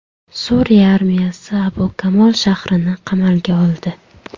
Suriya armiyasi Abu Kamol shahrini qamalga oldi.